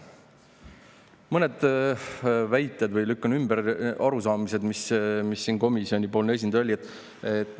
Ma mõned väited või arusaamised, mida siin komisjoni esindaja, lükkan ümber.